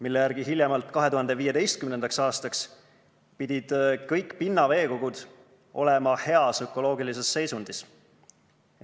Selle järgi pidid hiljemalt 2015. aastaks kõik pinnaveekogud olema heas ökoloogilises seisundis.